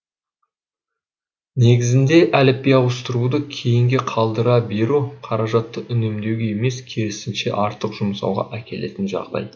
негізінде әліпби ауыстыруды кейінге қалдыра беру қаражатты үнемдеуге емес керісінше артық жұмсауға әкелетін жағдай